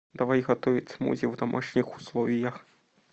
давай готовить смузи в домашних условиях